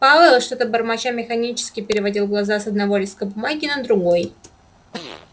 пауэлл что-то бормоча механически переводил глаза с одного листка бумаги на другой